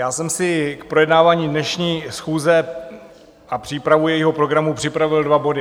Já jsem si k projednávání dnešní schůze a přípravu jejího programu připravil dva body.